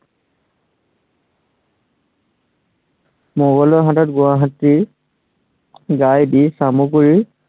মোগলৰ হাতত গুৱাহাটী দি চামগুৰিৰ